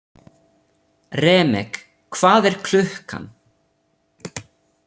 Remek, hvað er klukkan?